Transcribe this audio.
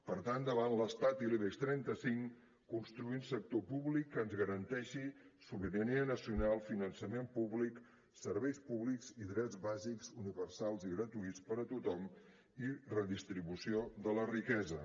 per tant davant l’estat i l’ibex trenta cinc construir un sector públic que ens garanteixi sobirania nacional finançament públic serveis públics i drets bàsics universals i gratuïts per a tothom i redistribució de la riquesa